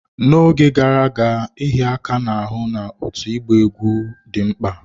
N'oge gara aga, ịhịa aka n'ahụ na otu ịgba egwú dị mkpa.